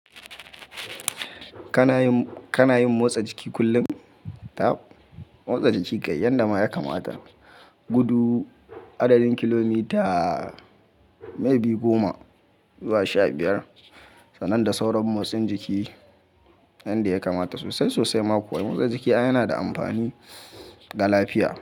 Kana yin, kana yin motsa jiki kullum? Tab, motsa jiki kai yanda ma ya kamata. Gudu adadin kilomita mai biyu goma zuwa sha biyar, sannan da sauran motsin jiki, inda ya kamata sosai sosai makuwa. Motsa jiki yana da amfani ga lafiya.